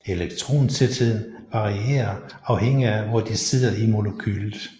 Elektrontætheden varierer afhængig af hvor de sidder i molekylet